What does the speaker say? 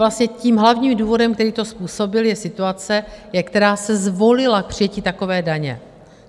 Vlastně tím hlavním důvodem, který to způsobil, je situace, která se zvolila k přijetí takové daně.